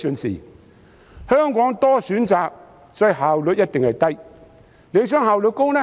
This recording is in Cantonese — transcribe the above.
在香港有很多選擇，因此效率一定低。